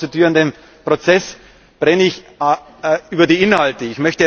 Nach diesem konstituierenden Prozess brenne ich auf die Inhalte.